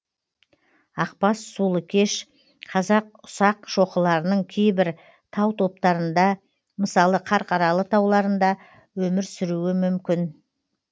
ақбас сұлыкеш қазақ ұсақшоқыларының кейбір тау топтарында мысалы қарқаралы тауларында өмір сүруі мүмкін